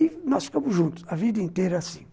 E nós ficamos juntos a vida inteira assim.